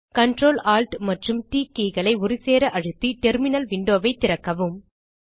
Ctrl Alt மற்றும் T keyகளை ஒருசேர அழுத்தி டெர்மினல் விண்டோ ஐ திறக்கவும்